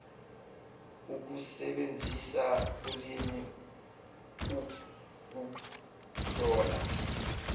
ukusebenzisa ulimi ukuhlola